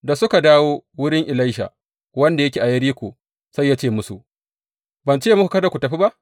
Da suka dawo wurin Elisha, wanda yake a Yeriko, sai ya ce musu, Ban ce muku kada ku tafi ba?